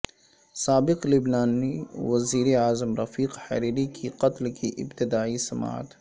سابق لبنانی وزیر اعظم رفیق حریری کے قتل کی ابتدائی سماعت